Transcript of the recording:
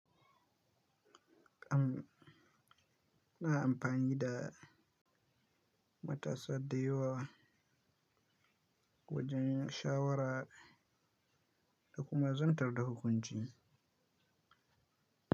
Am ina amfani da matasa da yawa wajen shawara da kuma zantar da hukunci.